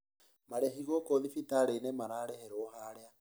Marĩhi gũkũ thibitarĩinĩ mararĩhĩrwo harĩa